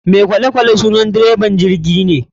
Mai kolekwale sunan dreban jirgine.